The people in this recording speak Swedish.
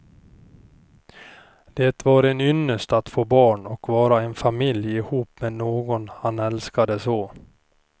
Det var en ynnest att få barn och vara en familj ihop med någon han älskade så.